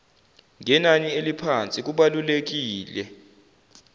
ngenani eliphansi kubalulekile